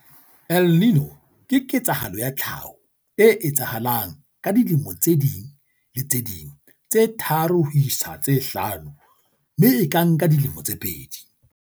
"El Niño ke ketsahalo ya tlhaho e etsahalang ka dilemo tse ding le tse ding tse tharo ho isa ho tse hlano mme e ka nka dilemo tse pedi."